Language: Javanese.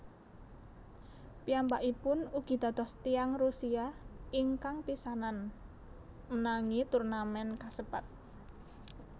Piyambakipun ugi dados tiyang Rusia ingkang pisanan menangi turnamèn kasebat